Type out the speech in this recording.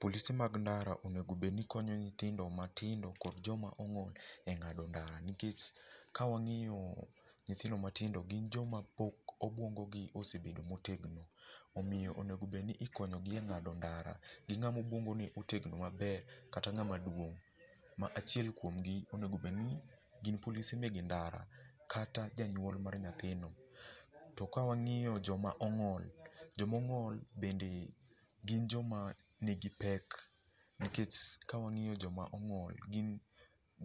Polise mag ndara onego bedni konyo nyithindo matindo kod joma ong'ol e ng'ado ndara. Nkech kawang'io nyithindo matindo gin joma pok obwongogi osebedo motegno. Omiyo onegobed ni ikonyogi e ng'do ndara gi ng'ama obwongone otegno maber kata ng'ama duong' ma achiel kwomgi onego bedni gin polise mege ndara kata janyuol mar nyathino. Tokawang'iyo joma ong'ol, jomong'ol bende gin joma nigi pek nikech kawang'iyo joma ong'ol gin